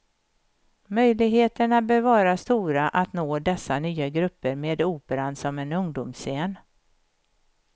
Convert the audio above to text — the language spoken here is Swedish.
Möjligheterna bör vara stora att nå dessa nya grupper med operan som en ungdomsscen.